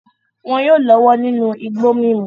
Wọn yóò lọ́wọ́ nínú igbó mímu.